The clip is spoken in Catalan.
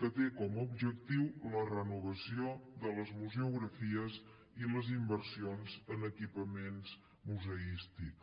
que té com a objectiu la renovació de les museografies i les inversions en equipaments museístics